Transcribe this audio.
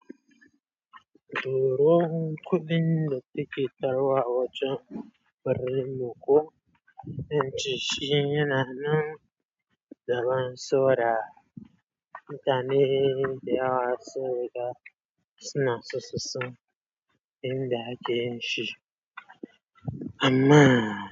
Duro kuɗin da kike tarwa a wajen birnin Moko, yanci shi yana nan da ban sora. Mutane dayawa sun riga suna so son inda akeyin shi. Amma.